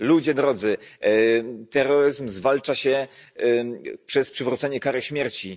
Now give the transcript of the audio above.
Ludzie drodzy, terroryzm zwalcza się przez przywrócenie kary śmierci.